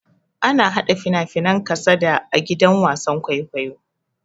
Ana hada fina-finan kasada a gidan wasan kwaikwayo.